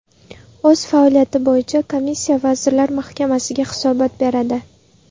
O‘z faoliyati bo‘yicha komissiya Vazirlar Mahkamasiga hisobot beradi.